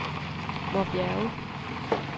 Vorbjerge